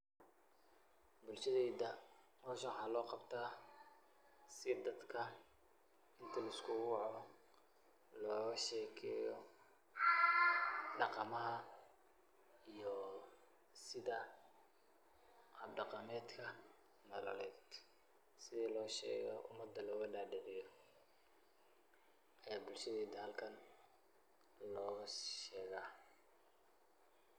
Bulshatheyta hoosha waxa lo qaabtah si dadka inti lisku wacoh loga sheekeyo daqamaha iyo setha habdaqameetka, sethi lo sheekho umada loga dadiceeyoh ee bulshatheyta halkan loga sheeka .